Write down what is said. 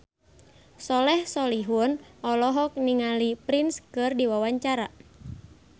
Soleh Solihun olohok ningali Prince keur diwawancara